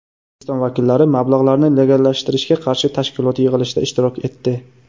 O‘zbekiston vakillari mablag‘larni legallashtirishga qarshi tashkilot yig‘ilishida ishtirok etdi.